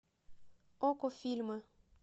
окко фильмы